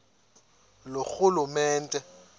loorhulumente